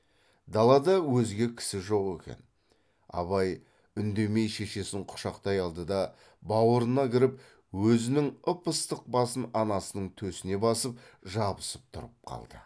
далада өзге кісі жоқ екен абай үндемей шешесін құшақтай алды да баурына кіріп өзінің ып ыстық басын анасының төсіне басып жабысып тұрып қалды